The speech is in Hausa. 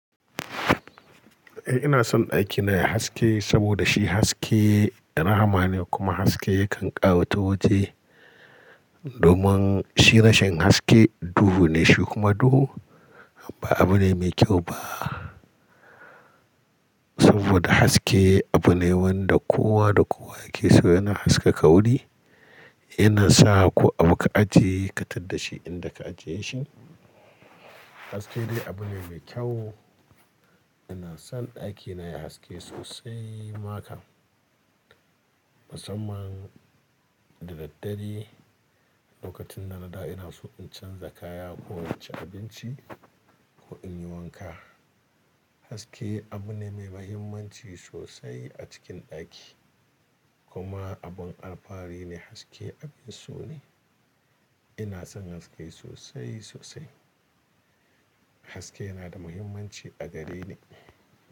Eh ina son ɗakina yai haske saboda shi haske shi rahama ne, kuma haske ya kan ƙawata waje. Domin shi rashin haske duhu ne shi kuma duhu ba abu ne mai kyau ba. Saboda haske abu ne wanda kowa da kowa yake so. Yana haskaka wuri, yana sa ko abu ka ajiye ka tad da shi inda ka ajiye shi. Haske dai abu ne mai kyau. Ina son ɗakina yai haske sosai ma kam. Musamman da daddare lokacin da na dawo ina so in canza kaya ko in ci abinci ko in yi wanka. Haske abu ne mai muhimmanci sosai a cikin ɗaki. Kuma abun alfahari ne haske abin so ne. Ina son haske sosai sosai. Haske yana da muhimmanci a gareni.